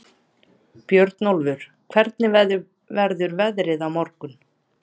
Björnólfur, hvernig verður veðrið á morgun?